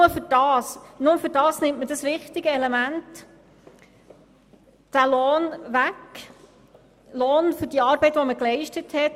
Nur dafür wird das wichtige Element, der Lohn, weggenommen – der Lohn für die geleistete Arbeit.